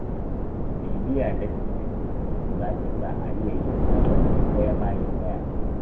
Bibiya daki-daki, za ta sa a iya yin kowanne ɗaya bayan ɗaya.